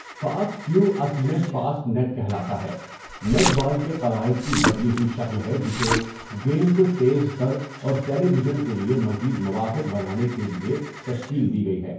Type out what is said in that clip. Fast five اصل میں fast net کہلاتا ہے نیٹ بال کے قواعد کی بدلی ہوئی شکل ہے جسے گیم کو تیز تر اور ٹیلی ویژن کے لیے مزید موافق بنانے کے لیے تشکیل دی گئی ہے.